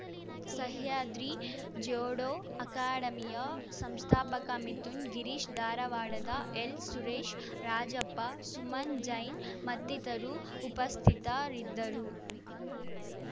ಸಹ್ಯಾದ್ರಿ ಜೋಡೋ ಅಕಾಡೆಮಿಯ ಸಂಸ್ಥಾಪಕ ಮಿಥುನ್‌ ಗಿರೀಶ್‌ ಧಾರವಾಡದ ಎಲ್‌ಸುರೇಶ್‌ ರಾಜಪ್ಪ ಸುಮನ್‌ ಜೈನ್‌ ಮತ್ತಿತರರು ಉಪಸ್ಥಿತರಿದ್ದರು